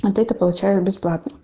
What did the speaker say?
ответы получают бесплатно